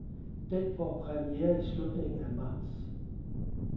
Den får premiere i slutningen af marts.